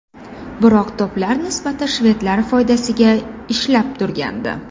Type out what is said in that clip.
Biroq to‘plar nisbati shvedlar foydasiga ishlab turgandi.